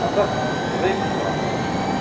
а так заебца все